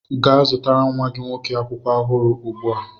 Gaa zụtara nwa gị nwoke akwụkwọ ọhụrụ ugbu a!